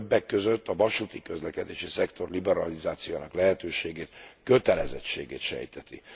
Többek között a vasúti közlekedési szektor liberalizációjának lehetőségét, kötelezettségét sejteti.